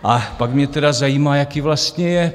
A pak mě teda zajímá, jaký vlastně je?